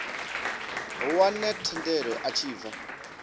wane thendelo a tshi bva